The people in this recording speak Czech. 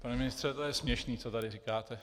Pane ministře, to je směšné, co tady říkáte.